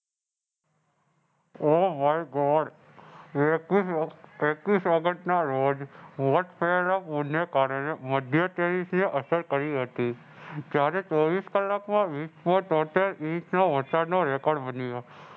Oh My God એકવીસ ઓગ એકવીસ ઓગસ્ટના રોજ થયેલા પૂરને કારણે મધ્ય અસર કરી હતી. ત્યારે ચોવીસ કલાકમાં હોટલ Inch નો વરસાદનો Record બની ગયો.